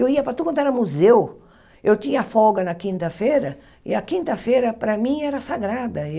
Eu ia para tudo, quando era museu, eu tinha folga na quinta-feira e a quinta-feira, para mim, era sagrada.